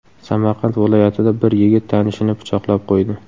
Samarqand viloyatida bir yigit tanishini pichoqlab qo‘ydi.